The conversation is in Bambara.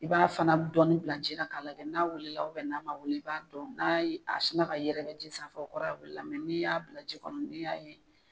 I b'a fana dɔɔni bila ji la k'a lajɛ n'a wuli la n'a man wuli i b'a dɔn n'a ye a sinna ka yɛrɛkɛ ji sanfɛ o kɔrɔ b'a yira k'a wuli la n'i y'a bila ji kɔnɔ n'i y'a ye